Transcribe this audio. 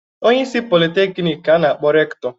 Onyeisi Politeknik ka a na-akpọ Rektọ.